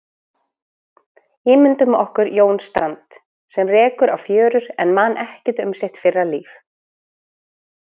Ímyndum okkur Jón Strand, sem rekur á fjörur en man ekkert um sitt fyrra líf.